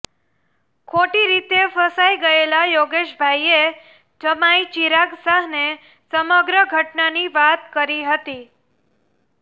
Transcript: ખોટી રીતે ફસાઇ ગયેલા યોગેશભાઇએ જમાઇ ચિરાગ શાહને સમગ્ર ઘટનાની વાત કરી હતી